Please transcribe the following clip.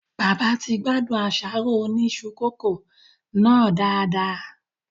Bàbá ti gbádùn àsáró Oni isu coco nàá dádà